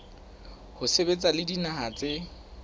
ho sebetsa le dinaha tse